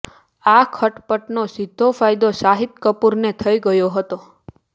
આ ખટપટનો સીધો ફાયદો શાહિદ કપૂરને થઈ ગયો હતો